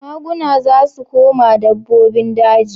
Maguna za su koma dabbobin daji.